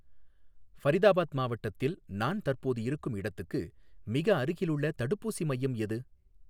ஃபரிதாபாத் மாவட்டத்தில் நான் தற்போது இருக்கும் இடத்துக்கு மிக அருகிலுள்ள தடுப்பூசி மையம் எது?